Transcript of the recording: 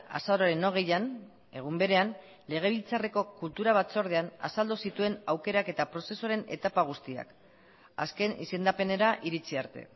azaroaren hogeian egun berean legebiltzarreko kultura batzordean azaldu zituen aukeraketa prozesuaren etapa guztiak azken izendapenera iritzi arte